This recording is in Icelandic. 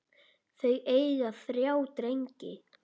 Þau eiga þrjá drengi.